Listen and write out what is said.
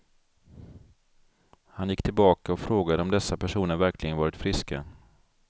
Han gick tillbaka och frågade om dessa personer verkligen varit friska.